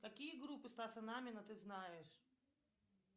какие группы стаса намина ты знаешь